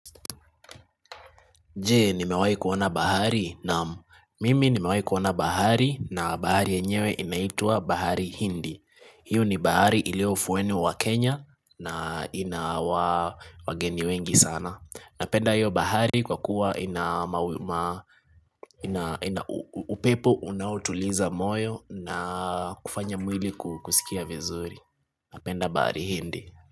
Je, nimewahi kuona bahari naam mimi nimewahi kuona bahari na bahari yenyewe inaitwa bahari hindi. Hiyo ni bahari iliyo ufuweni wa Kenya na inawa wageni wengi sana. Napenda hiyo bahari kwa kuwa ina upepo unaotuliza moyo na kufanya mwili kusikia vizuri. Napenda bahari hindi.